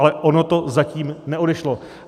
Ale ono to zatím neodešlo.